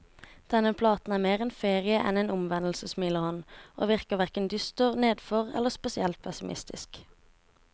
Denne platen er mer en ferie enn en omvendelse, smiler han, og virker hverken dyster, nedfor eller spesielt pessimistisk.